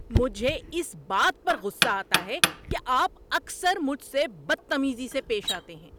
مجھے اس بات پر غصہ آتا ہے کہ آپ اکثر مجھ سے بدتمیزی سے پیش آتے ہیں۔